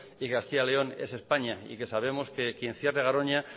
y castilla y león es españa y que sabemos que quien cierre garoña